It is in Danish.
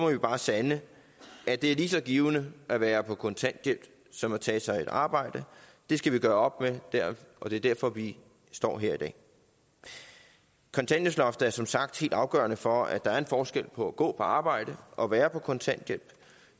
vi bare sande at det er lige så givende at være på kontanthjælp som at tage sig et arbejde det skal vi gøre op med og det er derfor vi står her i dag kontanthjælpsloftet er som sagt helt afgørende for at der er en forskel på at gå på arbejde og være på kontanthjælp